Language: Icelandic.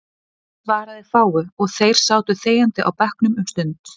Friðrik svaraði fáu, og þeir sátu þegjandi á bekknum um stund.